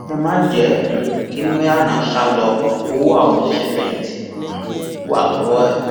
ẹ má jẹ um kí maina sá lò ó ọwọ àwọn òṣìṣẹfẹyìntì um wa lọwọ ẹ